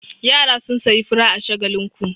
Yara sun sayi fura a Shagakinku.